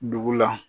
Dugu la